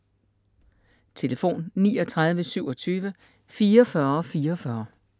Telefon: 39 27 44 44 Email: biblioteket@dbb.dk